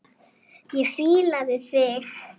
Ég fílaði þig.